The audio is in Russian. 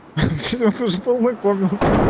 я тоже полно кормятся